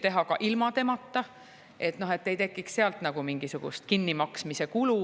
teha ilma temata, ei tekiks sealt mingisugust kinnimaksmise kulu.